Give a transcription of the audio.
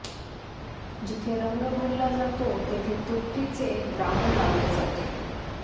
जिथे रंग भरला जातो तेथे तुरटीचे द्रावण लावले जाते